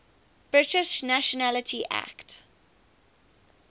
british nationality act